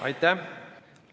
Aitäh!